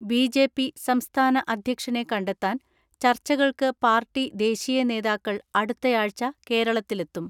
BJP സംസ്ഥാന അധ്യക്ഷനെ കണ്ടെത്താൻ ചർച്ച കൾക്ക് പാർട്ടി ദേശീയ നേതാക്കൾ അടുത്തയാഴ്ച കേരള ത്തിലെത്തും.